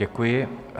Děkuji.